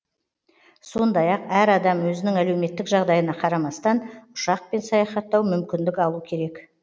сондай ақ әр адам өзінің әлеуметтік жағдайына қарамастан ұшақпен саяхаттау мүмкіндік алу керек